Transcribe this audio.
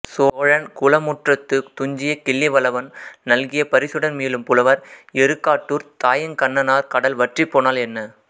சோழன் குளமுற்றத்துத் துஞ்சிய கிள்ளிவளவன் நல்கிய பரிசுடன் மீளும் புலவர் எருக்காட்டூர்த் தாயங்கண்ணனார் கடல் வற்றிப்போனால் என்ன